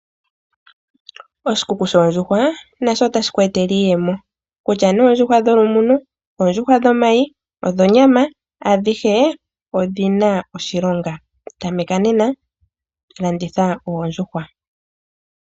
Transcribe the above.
Oshikuku shoondjuhwa nasho otashi ku etele iiyemo kutya oondjuhwa dholumuno oondjuhwa dhomayi ,dhonyama adhihe odhina oshilonga tameka nena landitha oondjuhwa.